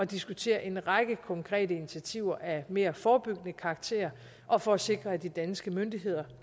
diskutere en række konkrete initiativer af mere forebyggende karakter og for at sikre at de danske myndigheder